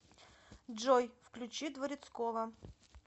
джой включи дворецкова